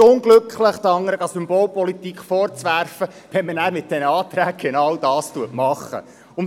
Es ist etwas unglücklich, den anderen Symbolpolitik vorzuwerfen, wenn man dann mit diesen Anträgen genau dies tut.